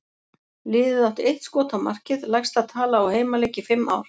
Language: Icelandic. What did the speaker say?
Liðið átti eitt skot á markið, lægsta tala á heimaleik í fimm ár.